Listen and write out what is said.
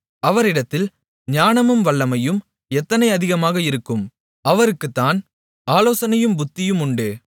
அவரிடத்தில் ஞானமும் வல்லமையும் எத்தனை அதிகமாக இருக்கும் அவருக்குத்தான் ஆலோசனையும் புத்தியும் உண்டு